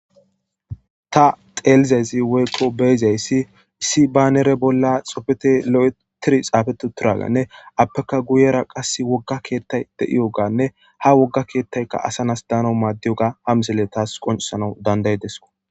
ta xeelizaysi woyqo beyizayssi issi baanere bolla xopfete lo7etiri xaafetu turaganne appeka guyera qas wogga keettay de7iyo ganne ha wogga keettayka asanas daano maaddiyoga ha misele taas qoncesana danday desko